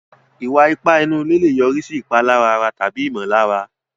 Ìwà ipá inú ilé lè yọrí sí ìpalára ara tàbí ìmọ̀lára.